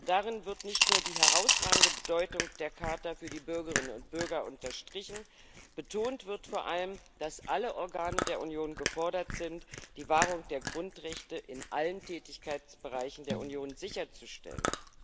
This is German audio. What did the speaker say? Darin wird nicht nur die herausragende Bedeutung der Charta für die Bürgerinnen und Bürger unterstrichen, betont wird vor allem, dass alle Organe der Union gefordert sind, die Wahrung der Grundrechte in allen Tätigkeitsbereichen der Union sicherzustellen.